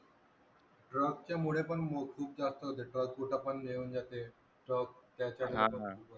Truck च्या मुळे पण खूप जास्त होत transport आपण हे होवून जाते ठप्प त्याच्यान